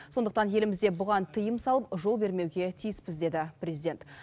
сондықтан елімізде бұған тыйым салып жол бермеуге тиіспіз деді президент